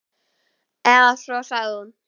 Eða svo sagði hún.